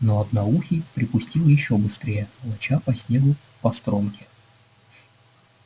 но одноухий припустил ещё быстрее волоча по снегу постромки